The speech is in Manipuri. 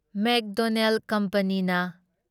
ꯃꯦꯛꯗꯣꯅꯦꯜ ꯀꯝꯄꯅꯤꯅ